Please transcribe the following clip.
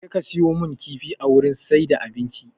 Jeka siyo mun kifi a wurin siyar da abinci!